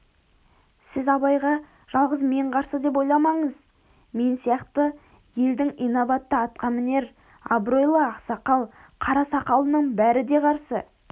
сіз абайға жалғыз мен қарсы деп ойламаңыз мен сияқты елдің инабатты атқамінер абыройлы ақсақал қарасақалының бәрі де қарсы